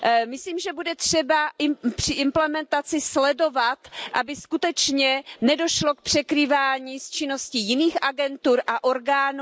Myslím si, že bude třeba při implementaci sledovat, aby skutečně nedošlo k překrývání s činností jiných agentur a orgánů.